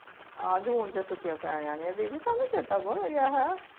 ਆਜੁ ਹੁਣ ਜੇ ਛੁੱਟੀਆਂ ਪੈ ਜਾਣੀਆਂ ਦੀਦੀ ਤੁਹਾਨੂੰ ਚੇਤਾ ਭੁੱਲ ਗਿਆ ਹੈਂ